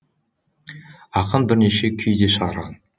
ақын бірнеше күй де шығарған